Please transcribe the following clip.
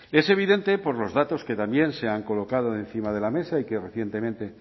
es evidente por los datos que también se han colocado encima de la mesa y que recientemente